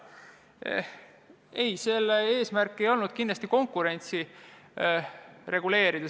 Ei, eelnõu eesmärk ei olnud konkurentsi reguleerida.